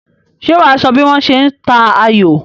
Ṣé wà á sọ bí wọ́n ṣe ń ta ayò?